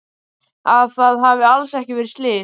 Að það hafi alls ekki verið slys.